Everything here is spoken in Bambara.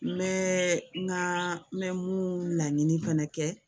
N bɛ n ka n bɛ mun laɲini fɛnɛ kɛ